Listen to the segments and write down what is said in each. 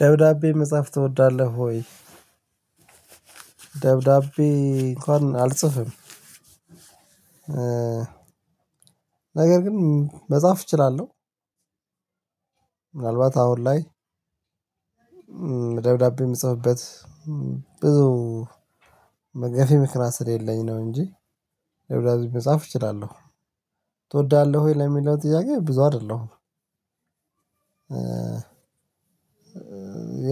ደብዳቤ መጻፍ ትወዳለህ ወይ? ደብዳቤ እንኳን አልጽፍም። ነገር ግን መጻፍ እችላለሁ። ምናልባት አሁን ላይ ደብዳቤ የምጽፍበት ብዙ ገፊ ምክንያት ስለሌለኝ ነው እንጂ ደብዳቤ መጻፍ እችላለሁ። ትወዳለህ ወይ ለሚለው ጥያቄ ብዙ አይደለሁም።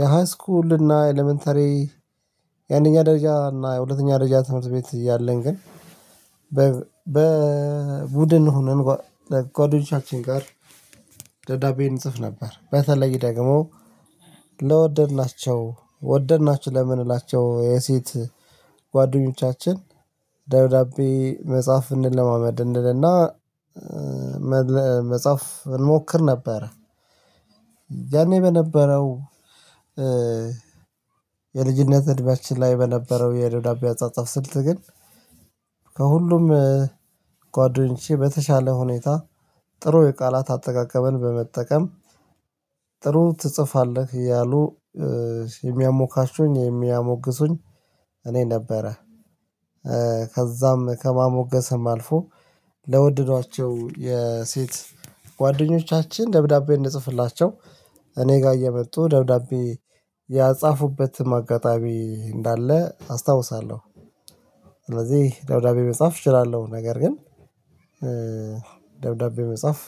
የሃይስኩል እና ኢለመንተሪ የአንደኛ ደረጃ እና የሁለተኛ ደረጃ ትምህርት ቤት ያለን ግን በቡድን ሆነን ጓደኞቻችን ጋር ደብዳቤ እንጽፍ ነበር በተለይ ደግሞ ለወደድናቸው ወደድናቸው ለምንላቸው የሴት ጓደኞቻችን ዳብዳቤ መጻፍ እንለማመድ እንልና መጻፍ እንሞክር ነበረ። ያኔ በነበረው የልጅነት እድሜያችን ላይ በነበረው የደብዳቤ አጻጻፍ ስልት ግን ከሁሉም ጓደኞቼ በተሻለ ሁኔታ ጥሩ የቃላት አጠቃቀመን በመጠቀም ጥሩ ትጽፋለህ እያሉ የሚያሞካሹኝ የሚያሞግሱኝ እኔ ነበረ። ከዛም ከማሞገስም አልፎ ለወደዷቸው የሴት ጓደኞቻችን ደብዳቤ እንድጽፍላቸው እኔ ጋር እየመጡ ደብዳቤ ያጻፉበትም አጋጣሚ እንዳለ አስታውሳለሁ። ስለዚህ ደብዳቤ መጻፍ እችላለሁ ነገር ግን ደብዳቤ መጻፍ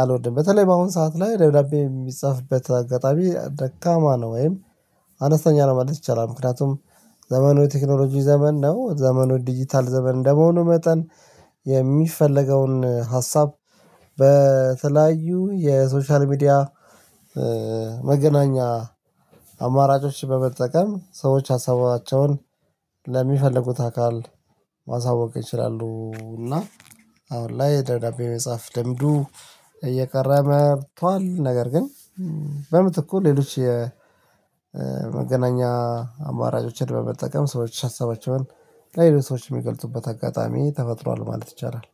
አልወድም። በተለይ በአሁን ሰዓት ላይ ደብዳቤ የሚጻፍበት አጋጣሚ ደካማ ነው። ወይም አነስተኛ ለማድረግ ይቻላል ምክንያቱም ዘመኑ የቴክኖሎጂ ዘመን ነው ዘመኑ ዲጂታል ዘመን እንደመሆኑ መጠን የሚፈለገውን ሀሳብ በተለያዩ የሶሻል ሚዲያ መገናኛ አማራጮች በመጠቀም ሰዎች ሀሳባቸውን ለሚፈልጉት አካል ማሳወቅ ይችላሉ። እና አሁን ላይ ደብዳቤ የመጻፍ ልምዱ እየቀረ መቷል። ነገር ግን በምትኩ ሌሎች የመገናኛ አማራጮችን በመጠቀም ሰዎች ሀሰባቸውን ለሌሎች ሰዎች የሚገልጹበት አጋጣሚ ተፈጥሯል ማለት ይቻላል